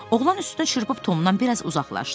Oğlan üstünə çırpıb Tomdan biraz uzaqlaşdı.